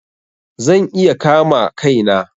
Zan iya kama Kai na.